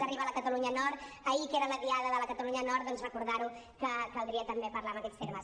arriba a la catalunya nord ahir que era la diada de la catalunya nord doncs recordar que caldria també parlar en aquests termes